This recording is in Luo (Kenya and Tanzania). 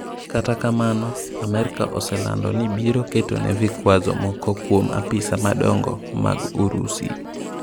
Kta kamno ,Amerka oselando ni biro ketone vikwazo moko kwuom apisa madongo mag Urusi.